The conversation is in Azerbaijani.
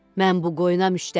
Mən bu qoyuna müştəriyəm.